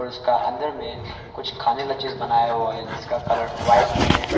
उसका अंदर में कुछ खाने का चीज बनाया हुआ है जिसका कलर वाइट में है।